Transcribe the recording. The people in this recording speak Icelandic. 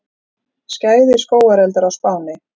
Skæðir skógareldar á Spáni